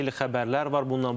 Xeyli xəbərlər var bununla bağlı.